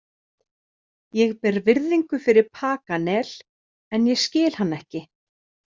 Ég ber virðingu fyrir Paganel en ég skil hann ekki.